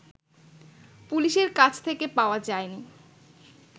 পুলিশের কাছ থেকে পাওয়া যায়নি